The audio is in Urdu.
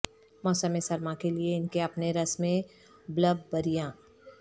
موسم سرما کے لئے ان کے اپنے رس میں بلببریاں